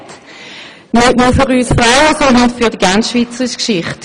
nicht nur für uns Frauen, sondern für die gesamte Schweizer Geschichte.